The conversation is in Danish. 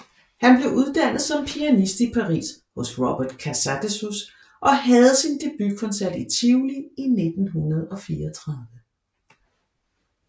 Han blev uddannet som pianist i Paris hos Robert Casadesus og havde sin debutkoncert i Tivoli i 1934